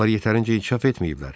Onlar yetərincə inkişaf etməyiblər.